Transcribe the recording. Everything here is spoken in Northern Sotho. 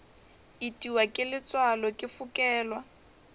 itiwa ke letswalo ke fokelwa